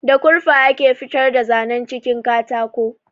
Da kurfa ake fitar da zanan jikin katako